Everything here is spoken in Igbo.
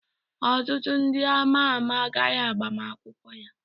Ọtụtụ ndị ama ama gara agbamakwụkwọ ya